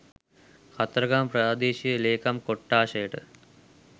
කතරගම ප්‍රාදේශීය ලේකම් කොට්ඨාශයට